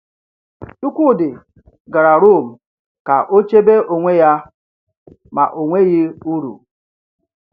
Chikwudi gara Rome ka o chebe onwe ya, ma ọ nweghị uru.